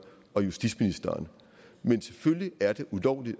og justitsministeren men selvfølgelig er det ulovligt